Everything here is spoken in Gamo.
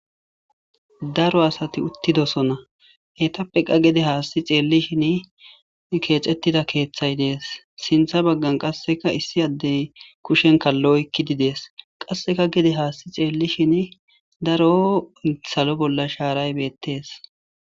daro asati uttidosona heytappe qa gede haasti xeellishin keexettida keeththay dees sintha baggan qasseka issi addey kushen kallo oykkidi dees qasseka gede haasti xeellishin daro salo bolla shaaray beettees